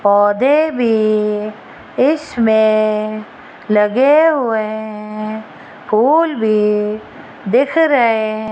पौधे भी इसमें लगे हुए हैं फूल भी दिख रहें --